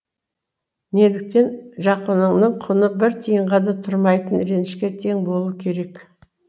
неліктен жақыныңның құны бір тиынға да тұрмайтын ренішке тең болу керек